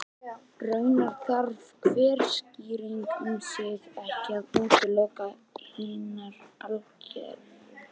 Raunar þarf hver skýring um sig ekki að útiloka hinar algerlega.